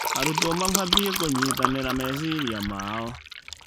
Arutwo maabatiĩ kũnyitanĩra meciria mao.